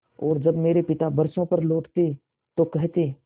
और जब मेरे पिता बरसों पर लौटते तो कहते